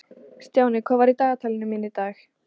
Stjáni, hvað er í dagatalinu mínu í dag?